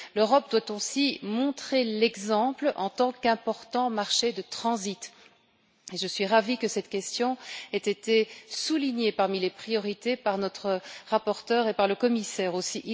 L'Europe doit aussi montrer l'exemple en tant qu'important marché de transit, et je suis ravie que cette question ait été soulignée parmi les priorités par notre rapporteur et par le commissaire aussi.